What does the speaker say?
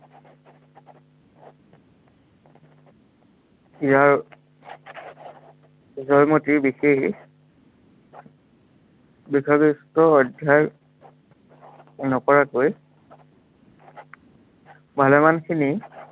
ইয়াৰ জয়মতীৰ বিশেষ অধ্য়য়ন নকৰাকৈ ভালেমান খিনি